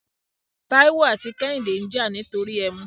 Tàíwò àti Kẹ́hìndé ń jà nítorí ẹmu.